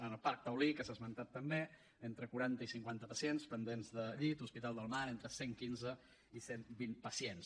en el parc taulí que s’ha esmentat també entre quaranta i cinquanta pacients pendents de llit a hospital del mar entre cent quinze i cent vint pacients